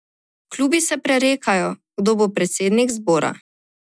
Klubi se prerekajo, kdo bo predsednik zbora.